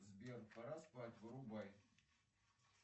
сбер пора спать вырубай